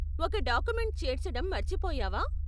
ఒక డాక్యుమెంట్ చేర్చడం మర్చిపోయావా?